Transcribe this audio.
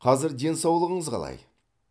қазір денсаулығыңыз қалай